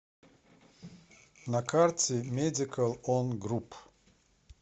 на карте медикал он груп